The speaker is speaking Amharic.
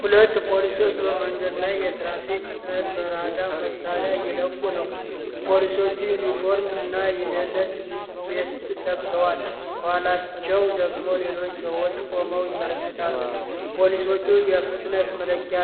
ሁለት ፖሊሶች በመንገድ ላይ የትራፊክ ፍጥነት በራዳር መሣሪያ እየለኩ ነው። ፖሊሶቹ ዩኒፎርም እና የደህንነት ቬስት ለብሰዋል፤ ከኋላቸው ደግሞ ሌሎች ሰዎች ቆመው ይመለከታሉ። ፖሊሶቹ የፍጥነት መለኪያ